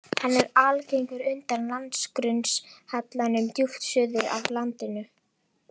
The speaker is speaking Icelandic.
Hann er algengur undan landgrunnshallanum djúpt suður af landinu.